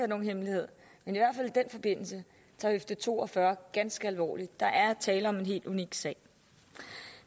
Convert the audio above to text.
nogen hemmelighed tager høfde to og fyrre ganske alvorligt der er tale om en helt unik sag